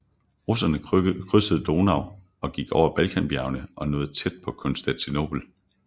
Russerne krydsede Donau og gik over Balkanbjergene og nåede tæt på Konstantinopel